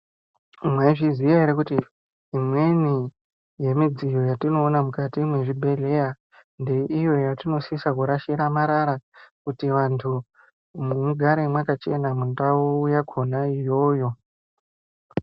Mwaizviziya ere kuti imweni yemidziyo yatinoona mukati mwezvibhedhleya, ngeiyo yatinosisa kurashira marara, kuti vantu mugare mwakachena mundau yakhona iyoyo?